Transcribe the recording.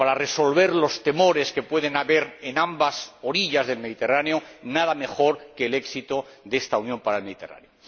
creo que para resolver los temores que puede haber en ambas orillas del Mediterráneo, nada mejor que el éxito de esta Unión para el Mediterráneo.